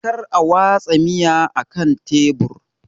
Kar a watsa miya akan tebur!